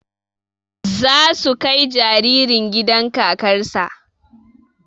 Za su kai jaririn gidan kakar sa